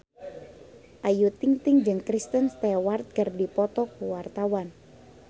Ayu Ting-ting jeung Kristen Stewart keur dipoto ku wartawan